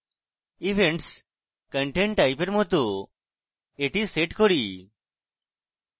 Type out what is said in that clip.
events content type এর মত এটি set করি